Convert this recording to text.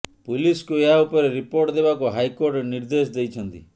ପୁଲିସକୁ ଏହା ଉପରେ ରିପୋର୍ଟ ଦେବାକୁ ହାଇକୋର୍ଟ ନିର୍ଦେଶ ଦେଇଛନ୍ତି